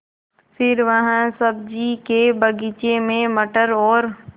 फिर वह सब्ज़ी के बगीचे में मटर और